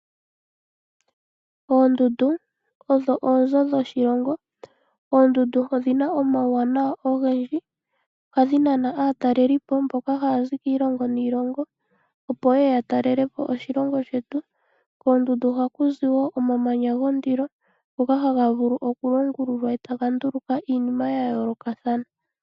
Oondundu odho oonzo dhoshilongo Oondundu odhina omawuwanawa ogendji ohadhi nana aatalelipo mboka hazi kiilongo niilongo opo yeye yatalelepo oshilonga shetu koondundu ohaku ziwo omamanya gondilo ngoka haga vulu okulongololwa eta ga nduluka iinima yayoloka thana.